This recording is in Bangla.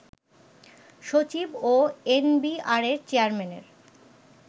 সচিব ও এনবিআরের চেয়ারম্যানের